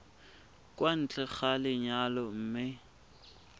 kwa ntle ga lenyalo mme